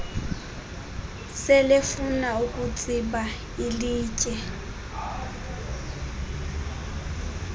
selefuna ukutsiba ilitye